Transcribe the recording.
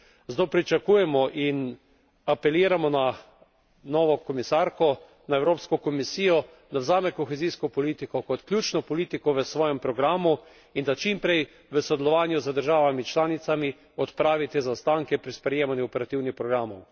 Zato pričakujemo in apeliramo na novo komisarko, na Evropsko komisijo, naj vzame kohezijsko politiko kot ključno politiko v svojem programu in da čim prej v sodelovanju z državami članicami odpravi te zaostanke pri sprejemanju operativnih programov.